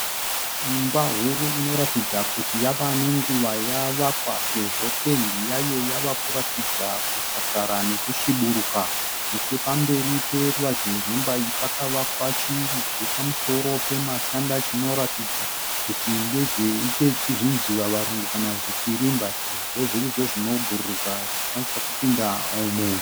Imba huru inoratidza kuti yava nenguva yavakwa sezvo pendi yayo yava kuratidza kusakara nokusviburuka. Nechepamberi poruvazhe rwemba iyi pakavakwa chirugu pamusoro pematanda chinoratidza kuti ndezve zvinjivavarungu kana kuti kwirimba sezvo zviri izvo zvonobhururuka zvinokwanisa kupinda umu.